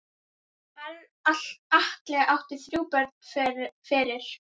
Atli átti þrjú börn fyrir.